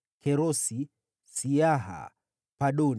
wazao wa Kerosi, Siaha, Padoni,